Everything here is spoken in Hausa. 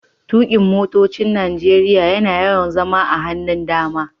Tukin' motocin Nijeriya na yawan zama a hannun dama.